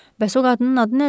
Bəs o qadının adı nədir?